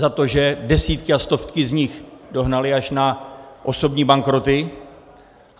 Za to, že desítky a stovky z nich dohnali až na osobní bankroty.